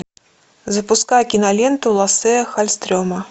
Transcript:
запускай киноленту лассе халльстрема